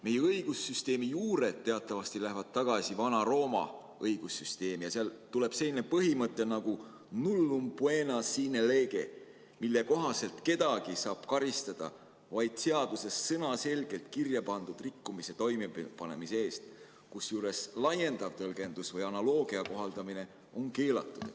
Meie õigussüsteemi juured lähevad teatavasti tagasi Vana-Rooma õigussüsteemi ja sealt tuleb selline põhimõte nagu nullum poena sine lege, mille kohaselt kedagi saab karistada vaid seaduses sõnaselgelt kirja pandud rikkumise toimepanemise eest, kusjuures laiendav tõlgendus või analoogia kohaldamine on keelatud.